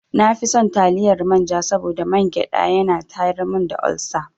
Na fi son taliyar manja saboda mangyaɗa ya na tayar mun da olsa.